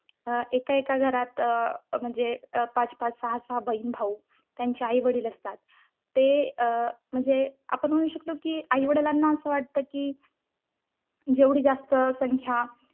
अं एका एका घरात अं म्हणजे पाच-पाच, सहा-सहा, बहीण-भाऊ त्यांचे आई-वडील असतात ते अं म्हणजे आपण म्हणू शकतो कि आई वडिलांना असे वाटते की, जेवढी जास्त संख्या